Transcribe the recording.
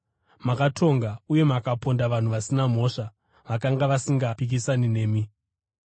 Makatonga uye mukaponda vanhu vasina mhosva, vakanga vasingapikisani nemi.